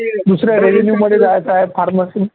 दुसरं आहे revenue मध्ये जायचं आहे pharmacy